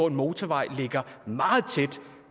en motorvej ligger meget tæt